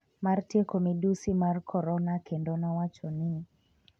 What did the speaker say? mar tieko midhusi mar korona kendo nowacho ni: